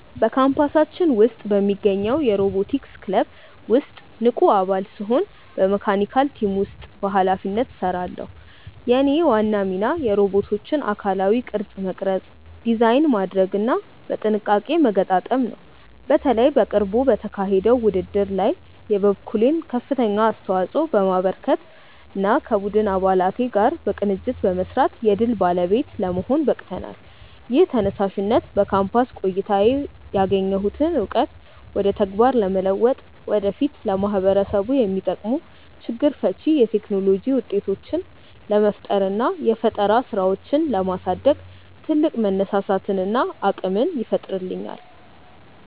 በካምፓሳችን ውስጥ በሚገኘው የሮቦቲክስ ክለብ ውስጥ ንቁ አባል ስሆን በመካኒካል ቲም ውስጥ በኃላፊነት እሰራለሁ። የእኔ ዋና ሚና የሮቦቶቹን አካላዊ ቅርጽ መቅረጽ፣ ዲዛይን ማድረግና በጥንቃቄ መገጣጠም ነው። በተለይ በቅርቡ በተካሄደው ውድድር ላይ የበኩሌን ከፍተኛ አስተዋጽኦ በማበርከትና ከቡድን አባላት ጋር በቅንጅት በመስራት የድል ባለቤት ለመሆን በቅተናል። ይህ ተነሳሽነት በካምፓስ ቆይታዬ ያገኘሁትን እውቀት ወደ ተግባር በመለወጥ ወደፊት ለማህበረሰቡ የሚጠቅሙ ችግር ፈቺ የቴክኖሎጂ ውጤቶችን ለመፍጠርና የፈጠራ ስራዎችን ለማሳደግ ትልቅ መነሳሳትንና አቅምን ይፈጥርልኛል።